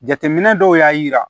Jateminɛ dɔw y'a yira